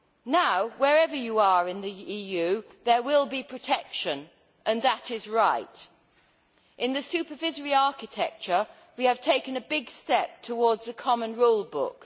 Now, wherever you are in the EU, there will be protection and that is right. In the supervisory architecture, we have taken a big step towards a common rule book.